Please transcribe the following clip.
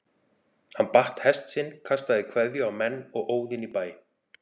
Hann batt hest sinn, kastaði kveðju á menn og óð inn í bæ.